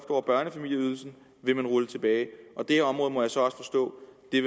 over børnefamilieydelsen vil man rulle tilbage og det her område må jeg så også forstå